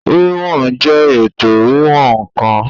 Wíwọn jẹ́ ètò wíwọ̀n ǹkan